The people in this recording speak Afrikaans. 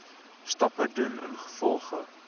stappe doen ingevolge